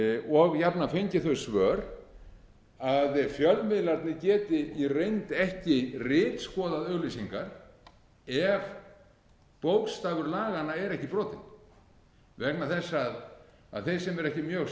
og jafnan fengi þau svör að fjölmiðlarnir beri í reynd ekki ritskoðað auglýsingar ef bókstafur laganna er ekki brotinn vegna þess að þeir sem eru ekki mjög